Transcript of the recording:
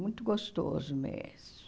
Muito gostoso mesmo.